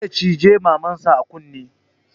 Zai cije maman sa a kunne